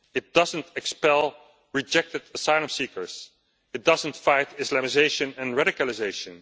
it doesn't expel rejected asylum seekers it doesn't fight Islamisation and radicalisation.